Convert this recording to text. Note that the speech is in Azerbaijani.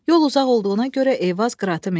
Yol uzaq olduğuna görə Eyvaz qıratı mindi.